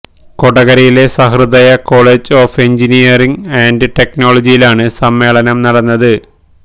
കൊടകരയിലെ Sahrudaya college of engineering and ടെക്നോളജിയിലാണ് സമ്മേളനം നടന്നത്